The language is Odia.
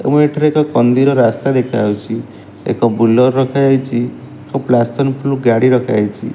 ଏବଂ ଏଠାରେ ଏକ କନ୍ଦିର ରାସ୍ତା ଦେଖାହୋଉଛି ଏକ ବୁଲର ରଖାଯାଇଚି ଏକ ପ୍ୟାସିଅନ ପ୍ରୁ ପ୍ରୁ ଗାଡ଼ି ରଖାଯାଇଛି।